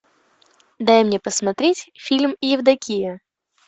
дай мне посмотреть фильм евдокия